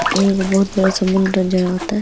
एगो बहुत बड़ा समुंद्र नज़र आवता।